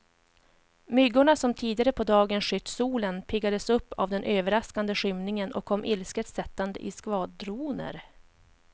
Myggorna som tidigare på dagen skytt solen, piggades upp av den överraskande skymningen och kom ilsket sättande i skvadroner.